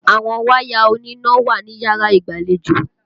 Àwọn wáyà oníná wà níyàrá ìgbàlejò.